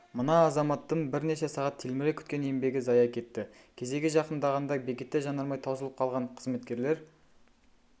мына азаматтың бірнеше сағат телміре күткен еңбегі зая кетті кезегі жақындағанда бекетте жанармай таусылып қалған қызметкерлер